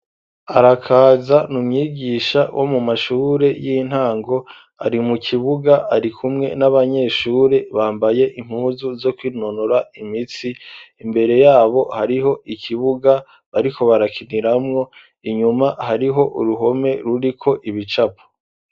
Arakaza ni umwigisha wo mu mashure y'intango ari mu kibuga ari kumwe n'abanyeshure bambaye impuzu zo kwinonora imitsi imbere yabo hariho ikibuga bariko barakiniramwo inyuma hariho uruhome ruriko ibicapo.